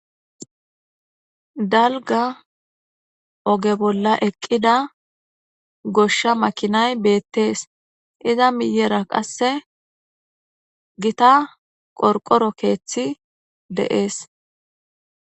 dalga oge bolla eqqida goshsha makinay beettees iza miyera qasse gita qorqoro keeththi deees